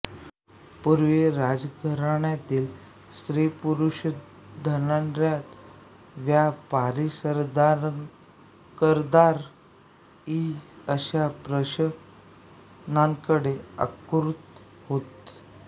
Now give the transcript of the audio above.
पूर्वी राजघराण्यातील स्त्रीपुरुषधनाढ्य व्यापारीसरदारदरकदार इ अशा प्रदर्शनांकडे आकृष्ट होत